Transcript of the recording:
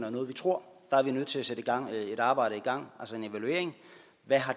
om noget vi tror der er vi nødt til at sætte et arbejde i gang altså en evaluering af hvad